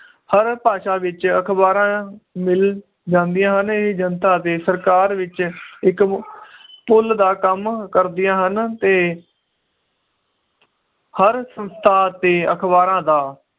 ਹਰ ਭਾਸ਼ਾ ਵਿਚ ਅਖਬਾਰਾਂ ਮਿਲ ਜਾਂਦੀਆਂ ਹਨ ਇਹ ਜਨਤਾ ਅਤੇ ਸਰਕਾਰ ਵਿਚ ਇੱਕ ਪੁੱਲ ਦਾ ਕੰਮ ਕਰਦਿਆਂ ਹਨ ਤੇ ਹਰ ਸੰਸਥਾ ਅਤੇ ਅਖਬਾਰਾਂ ਦਾ